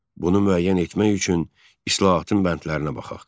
Bunu müəyyən etmək üçün islahatın bəndlərinə baxaq.